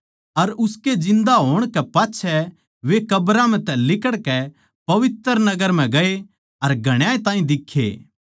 अर उसकै जिन्दा होण कै पाच्छै वे कब्रां म्ह तै लिकड़कै पवित्र नगर म्ह गए अर घणाए ताहीं दिक्खे